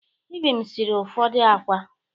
Ibim sịrị ụfọdụ ákwá.